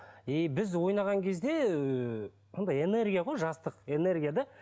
и біз ойнаған кезде андай энергия ғой жастық энергия да